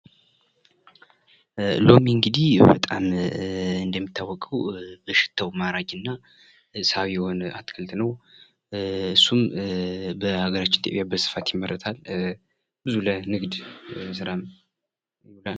ሎሚ እንግዲህ በጣም እንደሚታወቀዉ በሽታዉ ማራኪ እና ሳቢ የሆነ አትክልት ነዉ። እሱም በሀገራችን ኢትዮጵያም በስፋት ይመረታል።